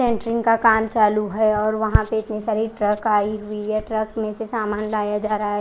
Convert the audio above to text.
का काम चालु है और वहां पर इतनी सारी ट्रक आई हुई है ट्रक मेसे सामान लाया जा रहा है।